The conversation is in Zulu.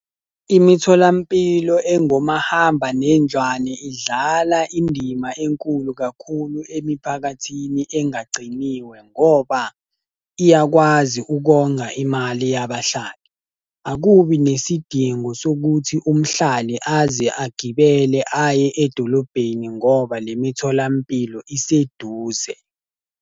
Imitholampilo engomahambanendlwane idlala indima enkulu kakhulu emiphakathini engagciniwe ngoba, iyakwazi ukonga imali yabahlali. Akubi nesidingo sokuthi umhlali aze agibele aye edolobheni ngoba le mitholampilo iseduze.